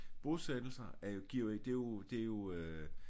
Bosættelser er jo giver jo det jo det er jo øh